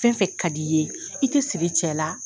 Fɛn fɛn ka di i ye, i tɛ siri cɛ la.